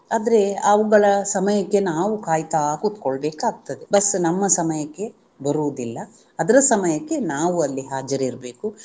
ಆದ್ರೆ ಅವುಗಳ ಸಮಯಕ್ಕೆ ನಾವು ಕಾಯ್ತಾ ಕೂತ್ಕೊಳ್ಳಬೇಕಾಗ್ತದೆ ಬಸ್ಸು ನಮ್ಮ ಸಮಯಕ್ಕೆ ಬರುವುದಿಲ್ಲ ಅದ್ರ ಸಮಯಕ್ಕೆ ನಾವು ಅಲ್ಲಿ ಹಾಜರಿರ್ಬೇಕು